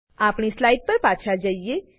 આપણી સ્લાઈડ પર પાછા જઈએ